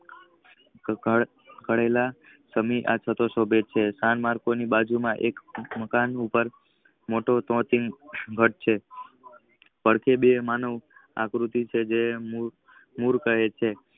ઘટેલા સ્થિન આફલો શોભે છે. એક મકાન ઉપર મોટો ચોકીક ઘઢ છે. પડખે બે માલ નું અક્રુતિ છે જે મોર કહે છે.